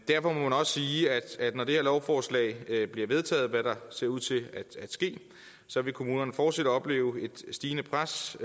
derfor må man også sige at når det her lovforslag bliver vedtaget hvad der ser ud til at ske så vil kommunerne fortsat opleve et stigende pres